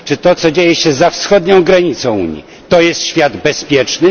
Czy to, co dzieje się za wschodnią granicą Unii, to jest świat bezpieczny?